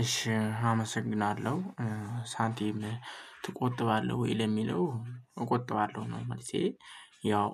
እሺ አመሰግናለሁ ሳንቲም ትቆጥባለህ ወይ? ለሚለው እቆጥባለሁ ነው መልሴ ያው